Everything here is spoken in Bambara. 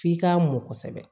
F'i k'a mɔ kosɛbɛ